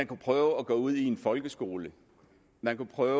prøve at gå ud i en folkeskole man kunne prøve